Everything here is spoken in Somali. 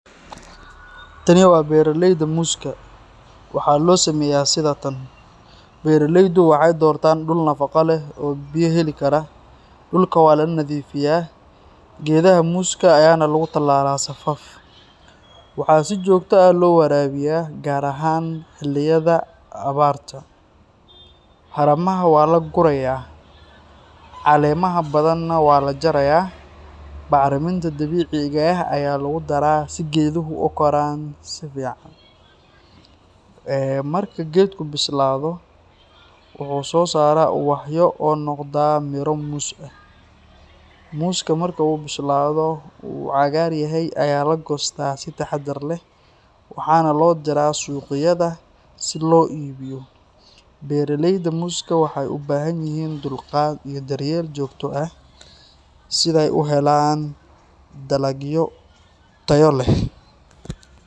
Tani waa beeraleyda muuska. Waxaa loo sameeyaa sidan: Beeraleydu waxay doortaan dhul nafaqo leh oo biyo heli kara. Dhulka waa la nadiifiyaa, geedaha muuska ayaana lagu tallaalaa safaf. Waxaa si joogto ah loo waraabiyaa, gaar ahaan xilliyada abaarta. Haramaha waa la gurayaa, caleemaha badanna waa la jarayaa. Bacriminta dabiiciga ah ayaa lagu daraa si geeduhu u koraan si fiican. Eee marka geedku bislaado, wuxuu soo saaraa ubaxyo oo noqda miro muus ah. Muuska marka uu bislaado oo uu cagaar yahay ayaa la goostaa si taxaddar leh, waxaana loo diraa suuqyada si loo iibiyo. Beeraleyda muuska waxay u baahan yihiin dulqaad iyo daryeel joogto ah si ay u helaan dalag tayo leh.